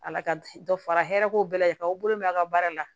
Ala ka dɔ fara hɛrɛ ko bɛɛ lajɛlen kan aw bolo mɛ a ka baara la